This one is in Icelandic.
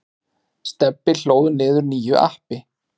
Stebbi hlóð niður nýju appi.